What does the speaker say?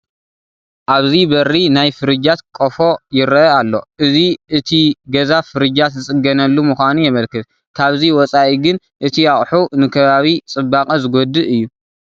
ኣብዚ በሪ ናይ ፍርጃት ቀፎ ይርአ ኣሎ፡፡ እዚ እቲ ገዛ ፍርጃት ዝፅገናሉ ምዃኑ የመልክት፡፡ ካብዚ ወፃኢ ግን እቲ ኣቑሑ ንከባቢ ፅባቐ ዝጐድእ እዩ፡፡